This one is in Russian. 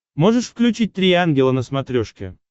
можешь включить три ангела на смотрешке